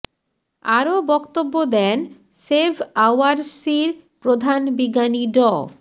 আরও বক্তব্য দেন সেভ আওয়ার সির প্রধান বিজ্ঞানী ড